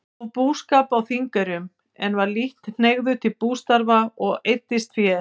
Hóf búskap á Þingeyrum, en var lítt hneigður til bústarfa og eyddist fé.